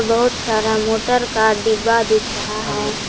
बहुत सारा मोटर का डिब्बा दिख रहा है।